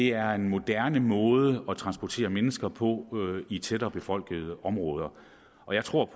er en moderne måde at transportere mennesker på i tættere befolkede områder og jeg tror